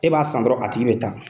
E b'a san dɔrɔn a tigi bɛ taa.